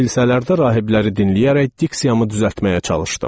Kilsələrdə rahibləri dinləyərək diksiyamı düzəltməyə çalışdım.